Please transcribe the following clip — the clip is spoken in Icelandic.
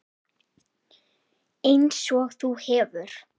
Einsog þú hefur.